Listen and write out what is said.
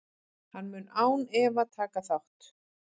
Hann mun án efa taka þátt.